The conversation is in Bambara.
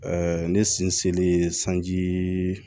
ne sinsinlen sanji